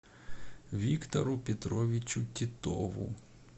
виктору петровичу титову